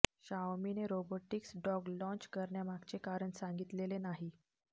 शाओमीने robotics dog launch करण्यामागचे कारण सांगितलेले नाही